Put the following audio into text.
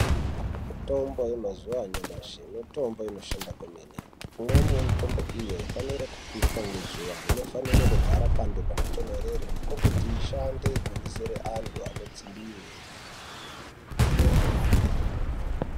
Mitombo yemazuwa anyamashi mitombo inoshanda kwemene. Imweni yemitombo iyi aifanire kupishwa ngezuva, inofanire kugara pantu panotontorere ,ndiko kuti ishande kuhinisire antu anodzimbiwe.